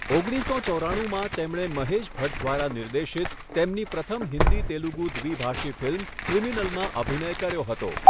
ઓગણીસસો ચોરાણુંમાં , તેમણે મહેશ ભટ્ટ દ્વારા નિર્દેશિત તેમની પ્રથમ હિન્દી તેલુગુ દ્વિભાષી ફિલ્મ 'ક્રિમિનલ' માં અભિનય કર્યો હતો.